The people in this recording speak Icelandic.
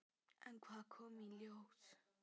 En hvað kom í ljós?